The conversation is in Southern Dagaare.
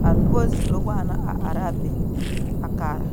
ka noba zoro waana a ara a be a kaara.